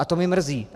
A to mě mrzí.